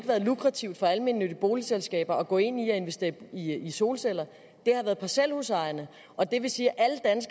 været lukrativt for almennyttige boligselskaber at gå ind i at investere i solceller det har været parcelhusejerne og det vil sige